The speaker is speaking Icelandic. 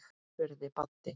spurði Baddi.